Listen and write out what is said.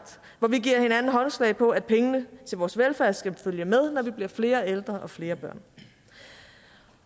hvor vi giver hinanden håndslag på at pengene til vores velfærd skal følge med når vi bliver flere ældre og flere børn